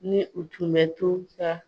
Ni u tun bɛ to sa,